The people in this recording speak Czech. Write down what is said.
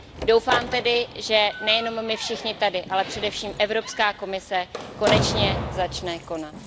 Doufám tedy, že nejenom my všichni tady, ale především Evropská komise konečně začne konat.